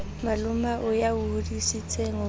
malomao ya o hodisitseng ho